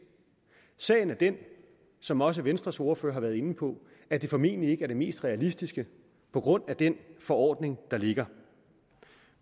sagen er den som også venstres ordfører har været inde på at det formentlig ikke er det mest realistiske på grund af den forordning der ligger